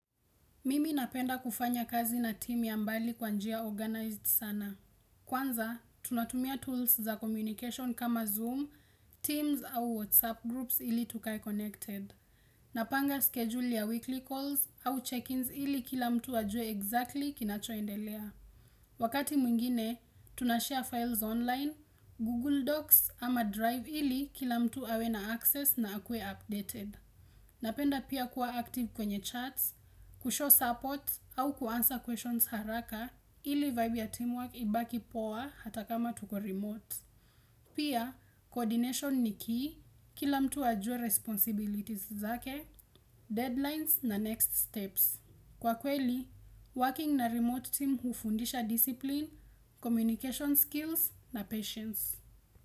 Mimi napenda kufanya kazi na team ya mbali kwa njia organized sana. Kwanza, tunatumia tools za communication kama Zoom, teams au WhatsApp groups ili tukae connected. Napanga schedule ya weekly calls au check-ins ili kila mtu ajue exactly kinachoendelea. Wakati mwingine, tunashare files online, Google Docs ama Drive ili kila mtu awe na access na akuwe updated. Napenda pia kuwa active kwenye chats, kushow support au kuanswer questions haraka ili vibe ya teamwork ibaki poa hata kama tuko remote. Pia, coordination ni key kila mtu ajue responsibilities zake, deadlines na next steps. Kwa kweli, working na remote team hufundisha discipline, communication skills na patience.